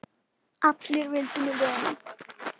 Allir vildu mér vel.